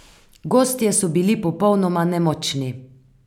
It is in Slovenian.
Gostje so bili popolnoma nemočni.